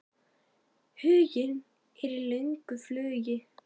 Huginn er í löngu flugi.